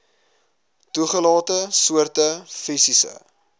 toegelate soorte fisiese